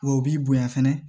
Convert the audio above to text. Wa o b'i bonya fɛnɛ